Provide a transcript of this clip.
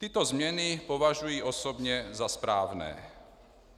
Tyto změny považuji osobně za správné.